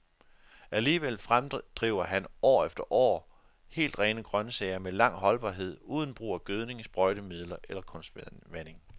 Alligevel fremdriver han år efter helt rene grøntsager med lang holdbarhed, uden brug af gødning, sprøjtemidler eller kunstvanding.